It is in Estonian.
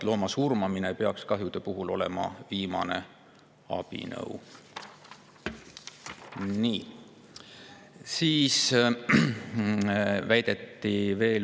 Looma surmamine kahjude peaks olema viimane abinõu.